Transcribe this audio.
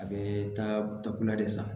A bɛ taa takula de san